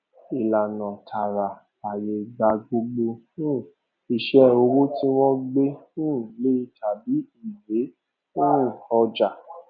ìlànà tààrà fàyè gba gbogbo um iṣẹ owó tí wọn gbé um lẹ tàbí ìwé um ọjà